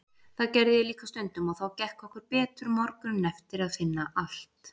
Það gerði ég líka stundum og þá gekk okkur betur morguninn eftir að finna allt